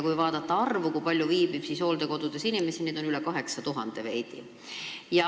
Kui vaadata arvu, kui palju viibib hooldekodudes inimesi, siis neid on veidi üle 8000.